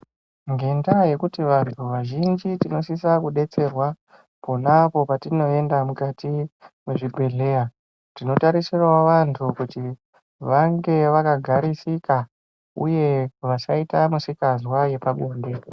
Ngendaa yekuti antu azhinji tinosisa kudetserwa pona apo patinoenda mukati mezvibhedhlera tinotarisira wo vantu kuti vange vakagarisika uye vasaita misikanzwa yepabonde.